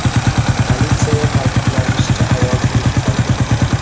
Politsiyada ta’kidlanishicha, ayol tirik qolgan.